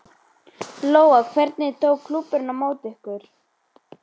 Lóa: Hvernig tók klúbburinn á móti ykkur?